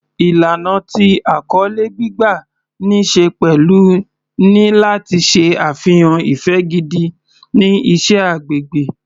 Ìlànà tí àkọlé gbígbà ní ṣe pẹ̀lú ni láti ṣe àfihàn ìfẹ́ gidi sí iṣẹ́ agbègbè.